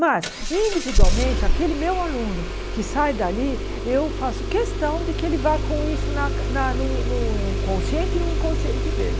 Mas, individualmente, aquele meu aluno que sai dali, eu faço questão de que ele vá com isso na na no consciente e no inconsciente dele.